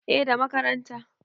eh da makaranta